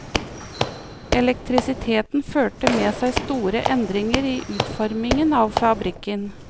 Elektrisiteten førte med seg store endringer i utformingen av fabrikken.